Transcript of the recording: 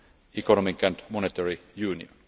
economic and monetary union.